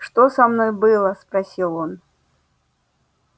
что со мной было спросил он